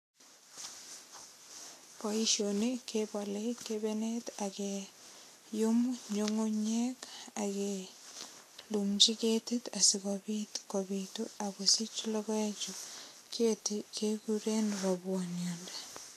Boisioni kebole kebenet ak keyum nyungunyek ak kelumchi ketit asigopit kopitu ak kosich logoek. Keti keguren robwoniotnde.